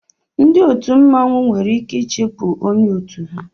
Ndị òtù mmọnwụ nwere ike ichupu ónyé ọtú ha.